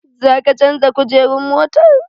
Za ka canja kujerun motar?